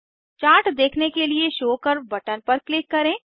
chart देखने के लिए शो कर्व बटन पर क्लिक करें